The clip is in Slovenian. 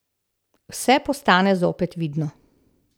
Vse postane zopet vidno.